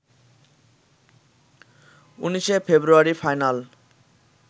১৯শে February final